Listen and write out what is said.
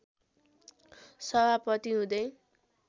सभापति हुँदै